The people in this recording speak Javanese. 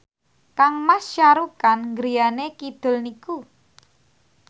kangmas Shah Rukh Khan griyane kidul niku